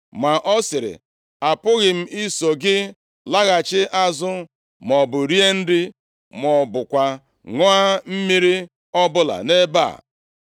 Ma ọ sịrị, “Apụghị m iso gị laghachi azụ, maọbụ rie nri, ma ọ bụkwa ṅụọ mmiri ọbụla nʼebe a.